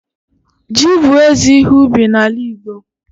ji bu eze ihe ubi n'ala Igbo